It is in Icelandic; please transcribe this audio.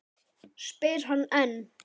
spyr hann enn.